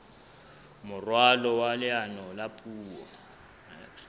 moralo wa leano la puo